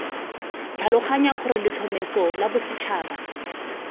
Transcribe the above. tlhaloganya gore letlhomeso la bosetšhaba